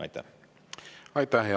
Aitäh!